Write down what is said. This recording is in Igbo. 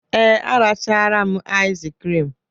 Ee, a rachara m iz krim.